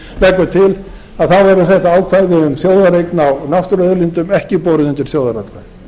hlutinn leggur til verði þetta ákvæði um þjóðareign á náttúruauðlindum ekki borið undir þjóðaratkvæði